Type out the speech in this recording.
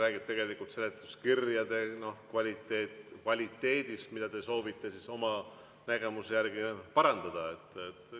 See räägib seletuskirjade kvaliteedist, mida te soovite oma nägemuse järgi parandada.